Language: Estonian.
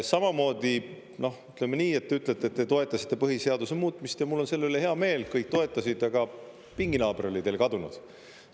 Samamoodi, ütleme nii, et te ütlete, et te toetasite põhiseaduse muutmist, ja mul on selle üle hea meel, kõik toetasid, aga pinginaaber oli teil kadunud.